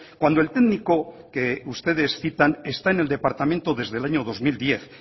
cuando el técnico que ustedes citan está en el departamento desde el año dos mil diez